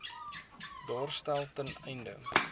daarstel ten einde